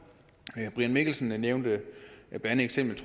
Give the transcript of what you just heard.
brian mikkelsen nævnte blandt andet eksemplet